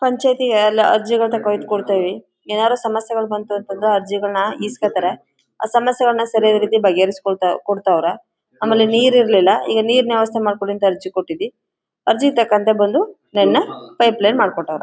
ಪಂಚಾಯತಿ ಗೆ ಎಲ್ಲ ಅರ್ಜಿನ ತಗೊಂಡು ಇಡ್ತೀವಿ ಏನಾದ್ರು ಸಮಸ್ಯೆ ಬಂದ್ರೆ ಅರ್ಜಿಗಳನ್ನ ಇಸ್ಕೊತಾರೆ ಆ ಸಮಸ್ಯೆಗಳನ್ನ ಸರಿಯಾದ ರೀತಿಯಲ್ಲಿ ಬಗೆಹರಿಸಿಕೊಳ್ತಾ ಕೊಳ್ತವ್ರೆ ಆಮೇಲೆ ನೀರು ಇರ್ಲಿಲ್ಲ ಈಗ ನೀರಿನ ವ್ಯವಸ್ಥೆ ಮಾಡಿ ಕೊಡಿ ಅಂತ ಅರ್ಜಿ ಕೊಟ್ಟಿದ್ವಿ ಅರ್ಜಿ ತಗೊಂಡು ಬಂದು ನೆನ್ನೆ ಪೈಪ್ ಲೈನ್ ಮಾಡಿ ಕೊಟ್ಟವ್ರೆ.